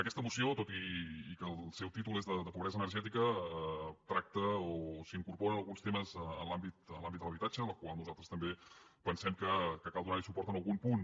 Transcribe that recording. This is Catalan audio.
aquesta moció tot i que el seu títol és de pobresa energètica tracta o s’hi incorporen alguns temes en l’àmbit de l’habitatge en el qual nosaltres també pensem que cal donar suport en algun punt